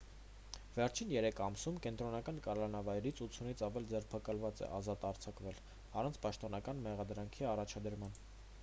վերջին 3 ամսում կենտրոնական կալանավայրից 80-ից ավելի ձերբակալված է ազատ արձակվել առանց պաշտոնական մեղադրանքի առաջադրման